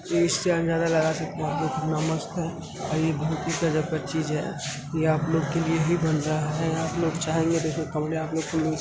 इससे अंजादा लगा सकते हैं आप लोग कितना मस्त है और ये बहुत ही गजब का चीज है। ये आप लोग के ही बन रहा है। आप लोग चाहेंगे तो इसमें कमरे आप लोगों को मिल --